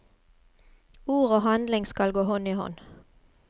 Ord og handling skal gå hånd i hånd.